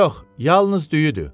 Yox, yalnız düyüdür.